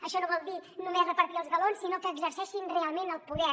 això no vol dir només repartir els galons sinó que exer·ceixin realment el poder